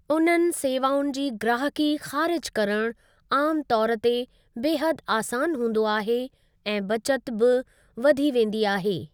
उननि सेवाउनि जी ग्राहकी खारिज़ करणु आम तौर ते बेहदि आसान हूंदो आहे ऐं बचत बि वधी वेंदी आहे।